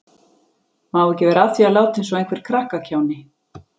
Má ekki vera að því að láta eins og einhver krakkakjáni.